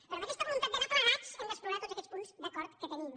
però amb aquesta voluntat d’anar plegats hem d’explorar tots aquests punts d’acord que tenim